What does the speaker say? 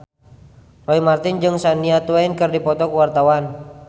Roy Marten jeung Shania Twain keur dipoto ku wartawan